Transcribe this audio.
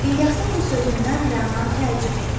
İlyasın bu sözündən Rəna təəccüb etdi.